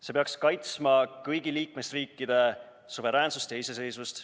See peaks kaitsma kõigi liikmesriikide suveräänsust ja iseseisvust.